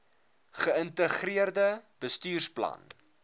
ge integreerde bestuursplan